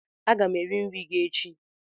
Aga m eri nri gi echi